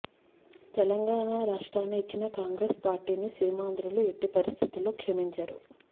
తెలంగాణ రాష్ట్రాన్ని ఇచ్చిన కాంగ్రెస్ పార్టీని సీమాంధ్రలు ఎట్టి పరిస్థితుల్లో క్షమించరు